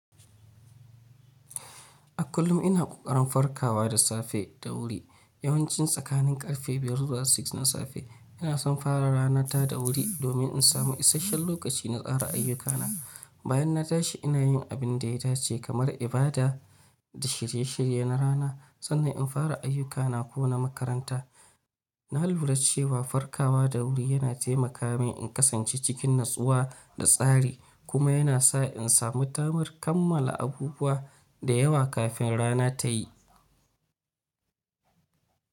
A kullum ina ƙoƙarin farkawa da safe da wuri. Yawanci tsakanin ƙarfe 5 da 6 na safe, ina son fara ranata da wuri domin in samu isasshen lokaci na tsara ayyukana. Bayan na tashi, ina yin abin da ya dace kamar ibada da shirye-shirye na rana sannan in fara ayyukana ko na makaranta. Na lura cewa farkawa da wuri yana taimaka mini in kasance cikin natsuwa da tsari kuma yana sa in samu tamar kammala abubuwa da yawa kafin rana ta yi.